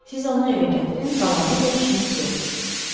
Siz onu evə gətirin, qalanı ilə işiniz yoxdur.